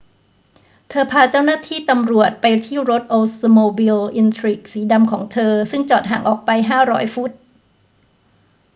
เธอพาเจ้าหน้าที่ตำรวจไปที่รถโอลด์สโมบิล อินทริก สีดำของเธอซึ่งจอดห่างออกไป 500 ฟุต